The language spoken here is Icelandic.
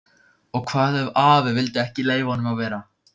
Og hvað ef afi vildi ekki leyfa honum að vera?